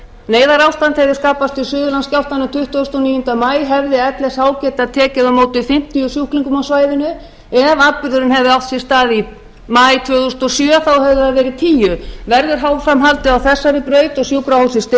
neyðarástand hefði skapast í suðurlandsskjálftanum tuttugasta og níunda maí hefði lsh getað tekið á móti fimmtíu sjúklingum á svæðinu ef atburðurinn hefði átt sér stað í maí tvö þúsund og sjö hefðu það verið tíu verður áfram haldið á þessari